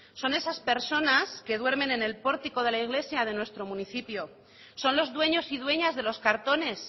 son esas personas que duermen en el pórtico de la iglesia de nuestro municipio son los dueños y dueñas de los cartones